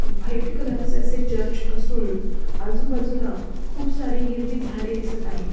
White colour चा असे church असून आजूबाजूला खुप सारे हिरवी झाडे दिसत आहे.